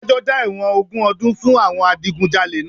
Adájọ́ dá ẹ̀wọ̀n ogún ọdún fún àwọn Adigunjalè náà